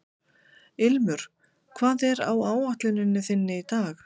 Ilmur, hvað er á áætluninni minni í dag?